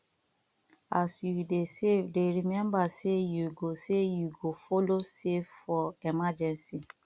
as you dey safe dey remmba sey yu go sey yu go follow safe for emergency